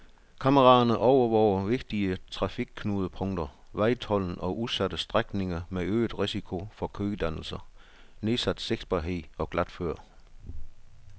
Kameraerne overvåger vigtige trafikknudepunkter, vejtolden og udsatte strækninger med øget risiko for kødannelser, nedsat sigtbarhed og glatføre.